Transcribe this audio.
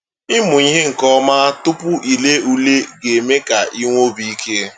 Ịmụ ihe nke ọma tupu i lee ule ga-eme ka i nwee obi ike.